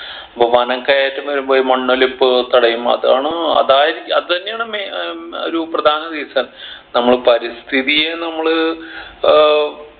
പൊ വനം കയ്യേറ്റം വരുമ്പൊ ഈ മണ്ണൊലിപ്പ് തടയും അതാണ് അതായത് അതന്നെയാണ് main ഏർ ഒരു പ്രധാന reason നമ്മൾ പരിസ്ഥിതിയെ നമ്മള് ഏർ